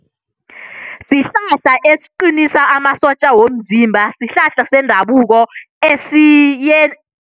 Sihlahla esiqinisa amasotja womzimba, sihlahla sendabuko esiye